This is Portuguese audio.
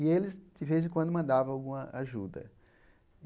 E eles, de vez em quando, mandavam alguma ajuda.